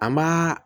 An b'a